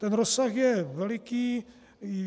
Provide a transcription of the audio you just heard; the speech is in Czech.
Ten rozsah je veliký.